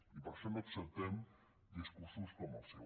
i per això no acceptem discursos com el seu